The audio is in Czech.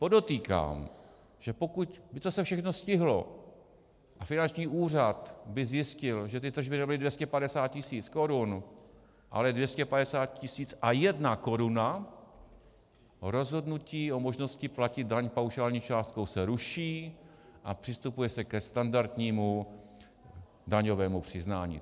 Podotýkám, že pokud by se to všechno stihlo a finanční úřad by zjistil, že ty tržby nebyly 250 tisíc korun, ale 250 tisíc a jedna koruna, rozhodnutí o možnosti platit daň paušální částkou se ruší a přistupuje se ke standardnímu daňovému přiznání.